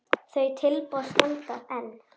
Þau tilboð standa enn.